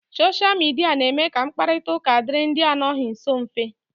Soshia Midia na-eme ka mkparita ụka dịịrị ndị anọghị nsọ mfe.